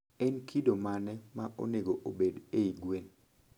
En kido mane ma onego obed ei gwen?